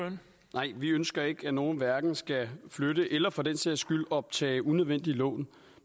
nej vi ønsker ikke at nogen hverken skal flytte eller for den sags skyld optage unødvendige lån